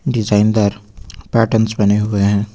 Design दार patterns बने हुए हैं।